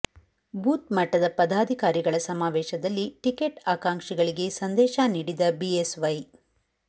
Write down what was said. booth ಮಟ್ಟದ ಪದಾಧಿಕಾರಿಗಳ ಸಮಾವೇಶದಲ್ಲಿ ಟಿಕೆಟ್ ಆಕಾಂಕ್ಷಿಗಳಿಗೆ ಸಂದೇಶ ನೀಡಿದ ಬಿಎಸ್ವೈ